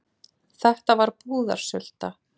Þetta var búðarsulta.